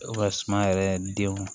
E ka suma yɛrɛ denw